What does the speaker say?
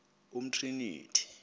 umtriniti